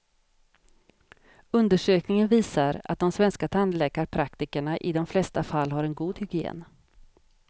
Undersökningen visar att de svenska tandläkarpraktikerna i de flesta fall har en god hygien.